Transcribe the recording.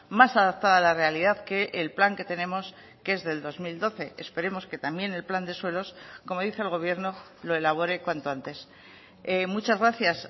más adaptada a la realidad que el plan que tenemos que es del dos mil doce esperemos que también el plan de suelos como dice el gobierno lo elabore cuanto antes muchas gracias